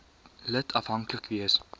lid afhanklik wees